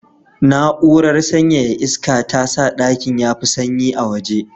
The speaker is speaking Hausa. Na'urar sanyaya iska ta sa ɗakin ya fi sanyi a waje.